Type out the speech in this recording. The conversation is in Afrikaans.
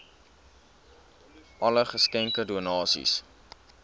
alle geskenke donasies